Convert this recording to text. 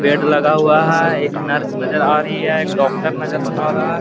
Bed लगा हुआ है। एक नर्स नज़र अ रही है। एक डोक्टर नज़र अ रहा है। --